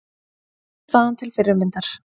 Frammistaðan til fyrirmyndar